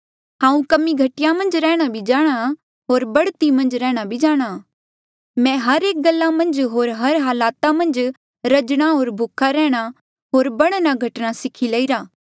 हांऊँ कमी घटी मन्झ रैंह्णां भी जाणहां होर बढ़ती मन्झ रैंह्णां भी जाणहां मैं हर एक गल्ला मन्झ होर हर हलाता मन्झ रजणा होर भूखा रैंह्णां होर बढ़ना घटना सीखी लईरा